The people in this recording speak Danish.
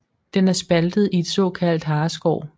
Den er spaltet i et såkaldt hareskår